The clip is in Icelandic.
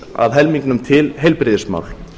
að helmingnum til heilbrigðismál